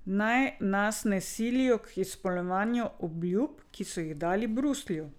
Naj nas ne silijo k izpolnjevanju obljub, ki so jih dali Bruslju.